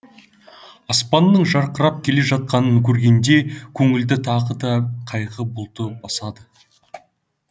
аспанның жарқырап келе жатқанын көргенде көңілді тағы да қайғы бұлты басады